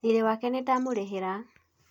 thirĩ wake nĩndamũrĩhire